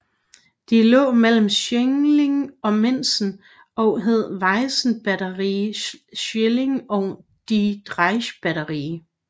De lå mellem Schillig og Minsen og hed Wiesenbatterie Schillig og die Deichbatterie